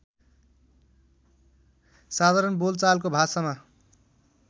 साधारण बोलचालको भाषामा